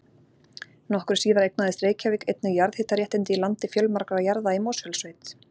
Nokkru síðar eignaðist Reykjavík einnig jarðhitaréttindi í landi fjölmargra jarða í Mosfellssveit.